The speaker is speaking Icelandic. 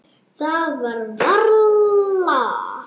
Það var varla.